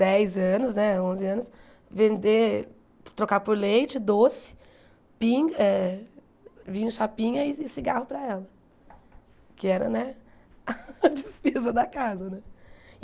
dez anos né, onze anos, vender trocar por leite, doce, pinga eh vinho chapinha e cigarro para ela, que era né a despesa da casa.